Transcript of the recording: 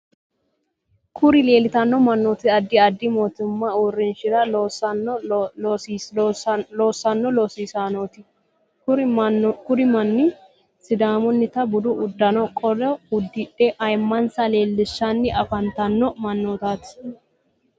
kuri leelitanno mannoti addi addi mootimate uurinshara loosanno losaasineeti. kuri manni sidaamunita budu uddano qolo uddidhe ayimansa leelishanni afantanno mannotati.